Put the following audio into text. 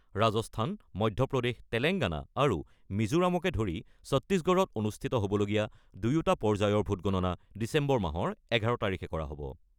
ৰাজস্থান, মধ্যপ্ৰদেশ, তেলেংগানা আৰু মিজোৰামকে ধৰি ছত্তিশগড়ত অনুষ্ঠিত হ'বলগীয়া দুয়োটা পৰ্যায়ৰ ভোটগণনা ডিচেম্বৰ মাহৰ ১১ তাৰিখে কৰা হ'ব।